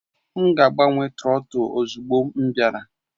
M ga-agbanwe trọtul ozugbo m bịara